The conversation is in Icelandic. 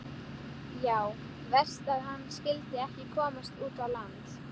Já, verst að hann skyldi ekki komast út á land.